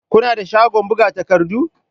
Kuna da shagon buga takardu?